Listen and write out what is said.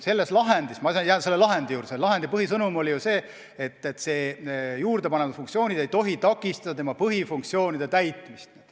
Selles lahendis – ma jään selle lahendi juurde – selles lahendis oli põhisõnum ju see, et juurdepandavad funktsioonid ei tohi takistada asutuse põhifunktsioonide täitmist.